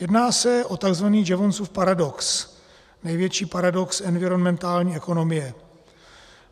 Jedná se o tzv. Jevonsův paradox, největší paradox environmentální ekonomie.